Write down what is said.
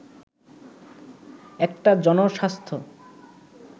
একটা জনস্বাস্থ্য